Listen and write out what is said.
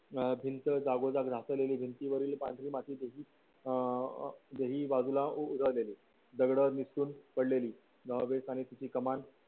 अं भिंता जागोजाग घासलेली भिंतीवरील पांढरी माती अं दही बाजूला उजळलेली दगड किसून पडलेली नहावीस आणि तिची कमान